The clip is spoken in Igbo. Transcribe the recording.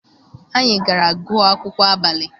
Anyị gara gụọ akwụkwọ abalị.